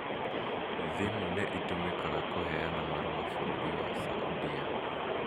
Thimũ nĩ iũmĩkaga kuheana marua bũrũri wa saudia